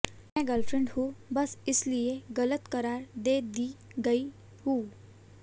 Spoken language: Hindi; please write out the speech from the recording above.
मैं गर्लफ्रेंड हूं बस इसलिए गलत करार दे दी गई हूं